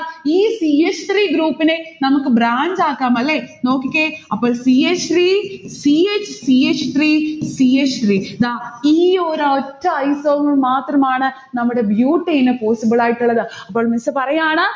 ഈ c h three group നെ നമ്മക് branch ആക്കം. അല്ലെ? നോക്കിക്കേ, അപ്പോൾ c h three, c h, c h three, c h three ദാ ഈ ഒരൊറ്റ isomer മാത്രമാണ് നമ്മുടെ butane possible ആയിട്ടുള്ളത്. അപ്പോൾ miss പറയാണ്